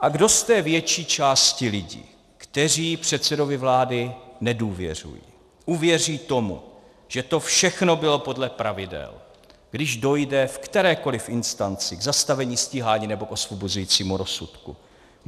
A kdo z té větší části lidí, kteří předsedovi vlády nedůvěřují, uvěří tomu, že to všechno bylo podle pravidel, když dojde v kterékoli instanci k zastavení stíhání nebo k osvobozujícímu rozsudku?